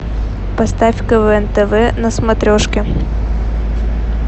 поставь квн тв на смотрешке